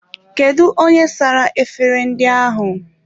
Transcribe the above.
Kedụ onye sara efere ndị ahụ?